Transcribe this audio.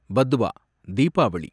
Padwa, Deepavali